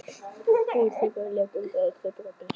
Fúið tréþilið lét undan og trjábolur braust inn.